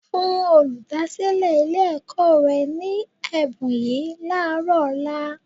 Fún olùdásílẹ̀ Ilé-ẹ̀kọ́ rẹ ní ẹ̀bùn yìí láàárọ̀ ọ̀la